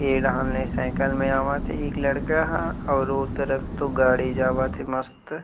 ये डहान ले साइकिल में आवत हे एक लड़का ह अउ वो तरफ तो गाड़ी जावत हे मस्त --